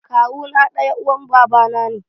Kawu na ɗan uwan babana ne